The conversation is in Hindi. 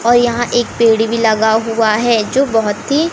और यहां एक पेड़ भी लगा हुआ है जो बहोत ही--